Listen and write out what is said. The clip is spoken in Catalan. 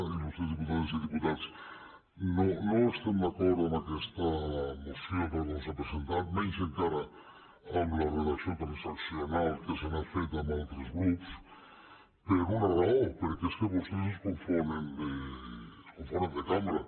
il·lustres diputades i diputats no estem d’acord amb aquesta moció tal com s’ha presentat menys encara amb la redacció transaccional que se n’ha fet amb altres grups per una raó perquè és que vostès es confonen de cambra